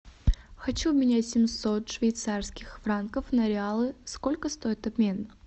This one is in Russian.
хочу обменять семьсот швейцарских франков на реалы сколько стоит обмен